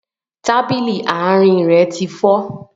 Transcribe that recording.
Tábìlì àárín rẹ ti fọ́